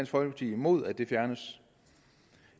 folkeparti imod at det fjernes